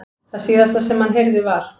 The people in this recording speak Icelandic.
Það síðasta sem hann heyrði var.